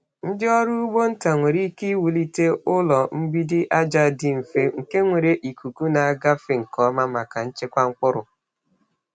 Ndị ọrụ ugbo nta nwere ike iwulite ụlọ mgbidi aja dị mfe nke nwere ikuku na-agafe nke ọma maka nchekwa mkpụrụ.